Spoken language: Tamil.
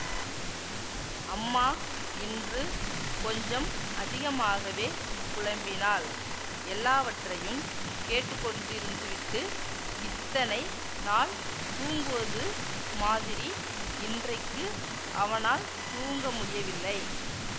அம்மா இன்று கொஞ்சம் அதிகமாகவே புலம்பினாள் எல்லாவற்றையும் கேட்டுக்கொண்டிருந்துவிட்டு இத்தனை நாள் தூங்குவது மாதிரி இன்றைக்கு அவனால் தூங்க முடியவில்லை